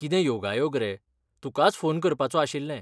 कितें योगायोग रे, तुकाच फोन करपाचों आशिल्लें.